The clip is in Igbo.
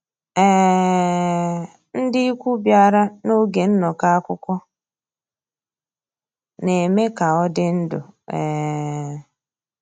um Ndị́ ìkwù bìàrà n'ògé nnọ́kọ́ àkwụ́kwọ́, ná-èmè ká ọ́ dị́ ndụ́. um